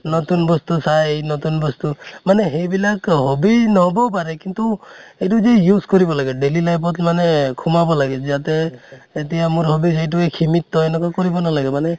নতুন বস্তু চাই নতুন বস্তু মানে হেইবিলাক hobbies ন্হʼবও পাৰে কিন্তু এইটো যে use কৰিব লাগে daily life ত মানে সোমাব লাগে যাতে এতিয়া মোৰ hobbies এইটোয়ে সিমিতএনেকুৱা কৰিব নালাগে মানে